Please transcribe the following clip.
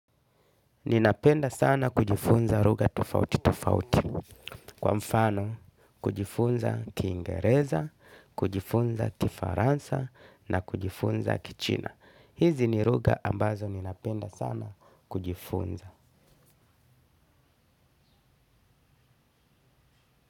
Ninapenda sana kujifunza lugha tofauti tofauti, kwa mfano, kujifunza kiingereza, kujifunza kifaransa na kujifunza kichina. Hizi ni lugha ambazo ninapenda sana kujifunza.